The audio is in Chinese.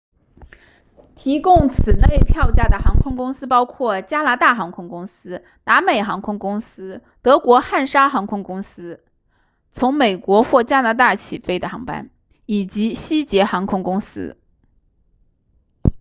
提供此类票价的航空公司包括加拿大航空公司达美航空公司德国汉莎航空公司从美国或加拿大起飞的航班以及西捷航空公司